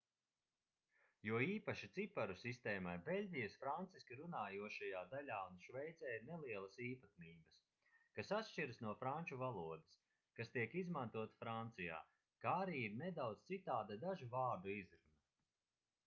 jo īpaši ciparu sistēmai beļģijas franciski runājošajā daļā un šveicē ir nelielas īpatnības kas atšķiras no franču valodas kas tiek izmantota francijā kā arī ir nedaudz citāda dažu vārdu izruna